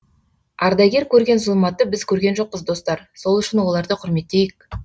ардагер көрген зұлматты біз көрген жоқпыз достар сол үшін оларды құрметтейік